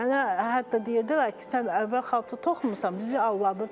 Mənə hətta deyirdilər ki, sən əvvəl xalça toxumusan, bizi aldadırsan.